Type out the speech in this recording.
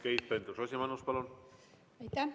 Keit Pentus-Rosimannus, palun!